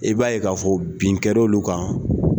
I b'a ye k'a fɔ bin kɛr'olu kan.